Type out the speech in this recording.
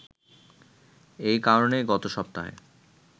এই কারণেই গত সপ্তাহে